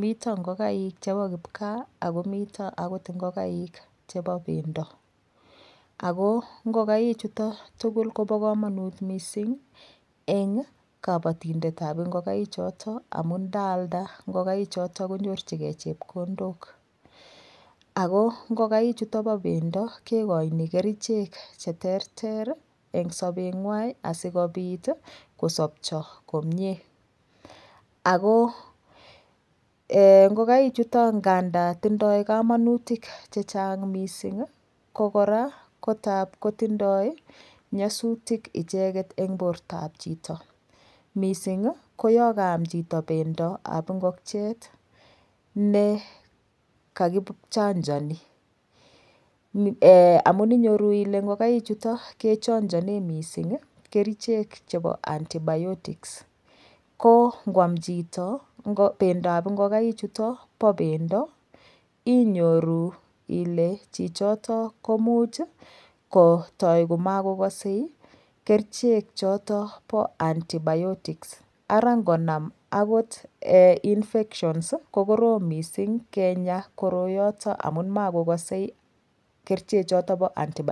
miten ingoigaik kipkaa miten akoot ingongaik chebo bendo ako ingongaik chutoon koba kamanuut missing eng kabatindet ab ingongaik chotoon amuun ndaalda ingogaik chotoon konyoorjigei chepkondook ako ingongaik chutoon bo bendo kigoini kercheek che terter eng so beet nywaany asikobiit kosapchai komyei ako eeh ingogaik chutoon ngandaan tindoi kamanutiik che chaang missing ko kora ko ndaap kotindoi nyasutiik ichegeet en borto ab chitoo missing ko yaan kayaam chito bendo ab ingokiet ne kakichangani amuun inyoruu kole ingogaik chutoon ke changaneen missing kercheek chebo [antibiotics] ko kwaam bendo ab ingongaik chutoon ko bo bendo inyoru Ile chichotoon komuuch ii ko toi ko makokasei kercheek chotoon bo [antibiotics] ara ingonam akoot eeh [infections] ii ko korom missing kenyaa koroiyotoon amuun makokasei kercheek chotoon bo [antibiotics]